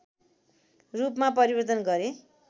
रूपमा परिवर्तन गरे